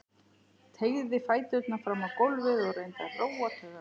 Teygði fæturna fram á gólfið og reyndi að róa taugarnar.